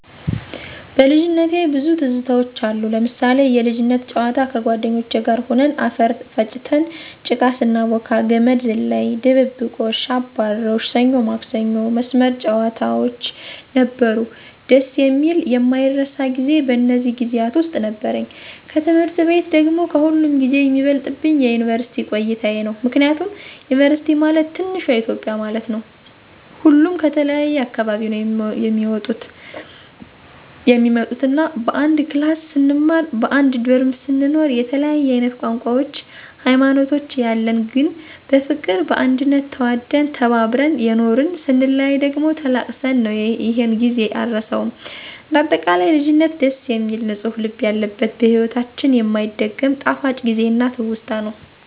በልጅነቴ ብዙ ትዝታውች አሉ... ለምሳሌ፦ የልጅነት ጨዋታ ከጓደኞቼ ጋር ሁነን አፈር ፈጭተን ጭቃ ስናቦካ፣ ገመድ ዝላይ፣ ድብብቆሽ፣ አባሮሽ፣ ሰኞ ማክሰኞ መስመር ጨዋታውች ነበሩ። ደስ የሚልና የማይረሳ ጊዜ በእነዚህ ጊዜያት ውስጥ ነበረኝ። ከትምህርት ቤት ደግሞ ከሁሉም ጊዜ የሚበልጥብኝ የዩንቨርስቲ ቆይታየ ነው። ምክንያቱም ዩንቨርስቲ ማለት ትንሿ ኢትዮጵያ ማለት ነው። ሁሉም ከተለያየ አካባቢ ነው የሚመጡት እና በአንድ ክላስ ስንማር በአንድ ዶርሞ ስንኖር የተለያየ አይነት ቋንቋውች ሀይማኖቶች ያለን ግን በፍቅር በአንድነት ተዋደን ተከባብረን የኖርን ....ስንለያይ ደግሞ ተላቅሰን ነው ይሔን ጊዜ አረሳውም። እንደ አጠቃላይ ልጅነት ደስ የሚል ንፁህ ልብ ያለበት በሒወታችን የማይደገም ጣፋጭ ጊዜና ትውስታ ነው።